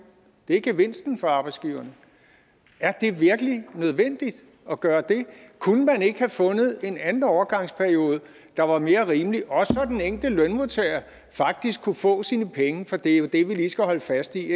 det er gevinsten for arbejdsgiverne er det virkelig nødvendigt at gøre det kunne man ikke have fundet en anden overgangsperiode der var mere rimelig så den enkelte lønmodtager faktisk kunne få sine penge for det er jo det vi lige skal holde fast i